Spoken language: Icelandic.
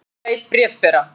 Hundur beit bréfbera